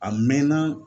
A mɛnna